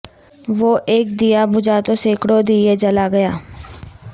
وہ اک دیا بجھا تو سینکڑوں دیئے جلا گیا